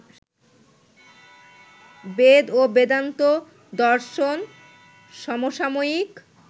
বেদ ও বেদান্ত দর্শন সমসাময়িক